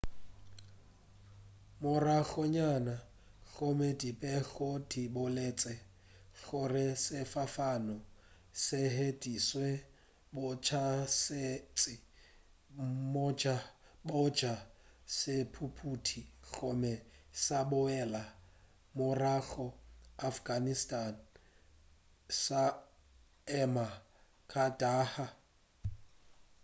moragonyana gomme dipego di boletše gore sefofane se hweditše botšhošetši bja sethuthupi gomme sa boela morago afghanistan sa ema kandahar